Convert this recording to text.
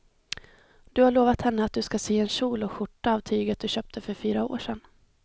Du har lovat henne att du ska sy en kjol och skjorta av tyget du köpte för fyra år sedan.